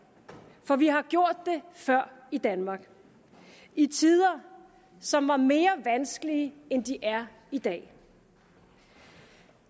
for vi har gjort det før i danmark i tider som var mere vanskelige end de er i dag